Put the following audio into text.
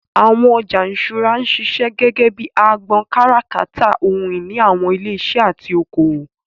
Àwọn ọjà ìṣúra ń ṣiṣẹ́ gẹ́gẹ́ bíi agbọn kátàkárà ohun ìní àwọn ilé iṣẹ́ àti oko òwò.